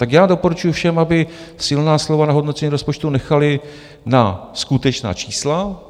Tak já doporučuji všem, aby silná slova na hodnocení rozpočtu nechali na skutečná čísla.